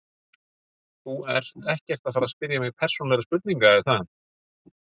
Þú ert ekkert að fara spyrja mig persónulegra spurninga er það?